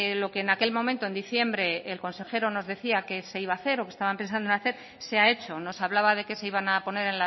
lo que en aquel momento en diciembre el consejero nos decía que se iba hacer o que estaban pensando en hacer se ha hecho nos hablaba de que se iban a poner